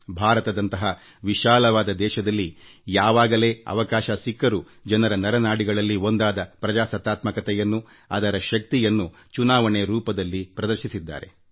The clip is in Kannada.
ಭಾರತದಂತಹ ವಿಶಾಲವಾದ ದೇಶದಲ್ಲಿ ಯಾವಾಗ ಅವಕಾಶಗಳು ಸಿಕ್ಕರೂ ಜನರ ನರನಾಡಿಗಳಲ್ಲಿ ಒಂದಾದ ಪ್ರಜಾಪ್ರಭುತ್ವವನ್ನು ಅದರ ಶಕ್ತಿಯನ್ನು ಮುಂಬರುವ ಚುನಾವಣೆಯ ಸಮಯದಲ್ಲಿ ಪ್ರದರ್ಶಿಸಿದ್ದಾರೆ